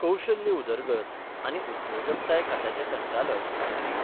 कौशल्य उदरगत आनी उद्योजकताय खात्याचे संचालक श्री.